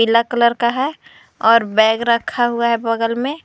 पीला कलर है और बैग रखा हुआ है बगल में।